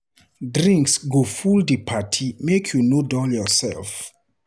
Drinks go full for di party, make you no dull yoursef.